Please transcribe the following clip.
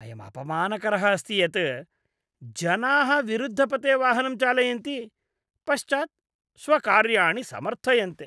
अयं अपमानकरः अस्ति यत् जनाः विरुद्धपथे वाहनं चालयन्ति, पश्चात् स्वकार्याणि समर्थयन्ते।